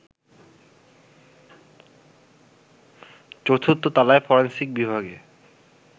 চতুর্থ তলায় ফরেনসিক বিভাগে